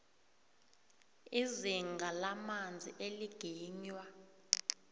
izinga lamanzi eliginywa